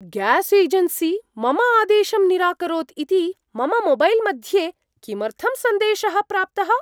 Gas agency मम आदेशं निराकरोत् इति मम मोबैल् मध्ये किमर्थं सन्देशः प्राप्तः?